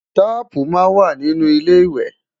taààpu má n wà nì inú ilé iwe